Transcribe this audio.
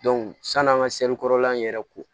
sann'an ka in yɛrɛ ko